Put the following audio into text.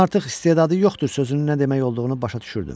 Mən artıq istedadı yoxdur sözünün nə demək olduğunu başa düşürdüm.